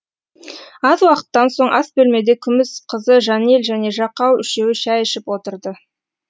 аз уақыттан соң ас бөлмеде күміс қызы жанель және жақау үшеуі шәй ішіп отырды